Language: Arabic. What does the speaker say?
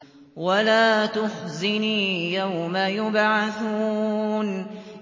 وَلَا تُخْزِنِي يَوْمَ يُبْعَثُونَ